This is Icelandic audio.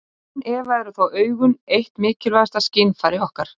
Án efa eru þó augun eitt mikilvægasta skynfæri okkar.